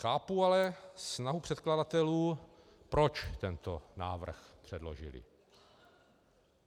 Chápu ale snahu předkladatelů, proč tento návrh předložili.